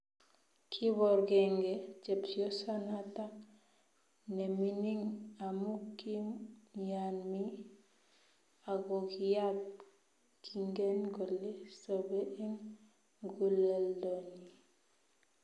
Kiborgengei chepyosanata nemining amu kimnyani ago kiyaat, kiingen kole SoBe eng muguleldonyi